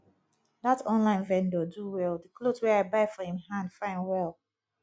that online vendor do well the cloth wey i buy for him hand fine well